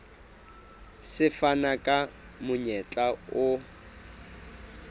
se fana ka monyetla o